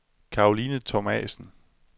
Caroline Thomasen